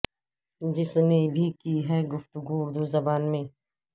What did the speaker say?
جس نے بھی کی ہے گفتگو اردو زبان میں